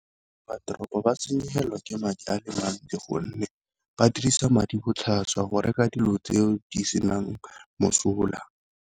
Ratoropo ba senyegelwe ke madi a le mantsi, gonne ba dirisa madi botlhaswa go reka dilo tseo di senang mosola.